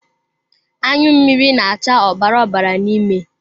Anyụ mmiri na-acha ọbara ọbara n'ime.